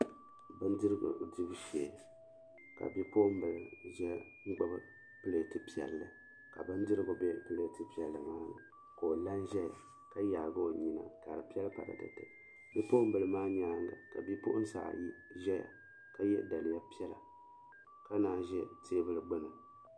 Bindirigu dibu shee ka bipuɣimbila ʒɛn n gbibi pileeti piɛlli ka bindirigu be pileeti piɛlli maa ni ka o la n zaya ka yaagi o nyina ka di piɛlli paratete bipuɣimbila maa nyaanga bipuɣinsi ayi zaya ka ye daliya piɛla ka naanyi ʒɛ teebuli gbini.